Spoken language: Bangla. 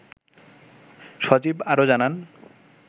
সজীব আরও জানান